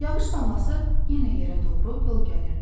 Yağış damlası yenə yerə doğru yol gəlirdi.